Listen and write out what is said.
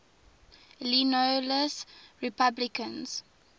illinois republicans